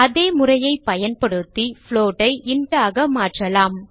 அதே முறையைப் பயன்படுத்தி float ஐ int ஆக மாற்றலாம்